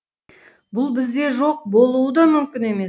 бұл бізде жоқ болуы да мүмкін емес